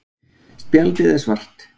Spjaldið er svart.